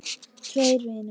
Tveir vinir